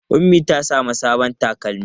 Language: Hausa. Ummi ta samu sabon takalmi.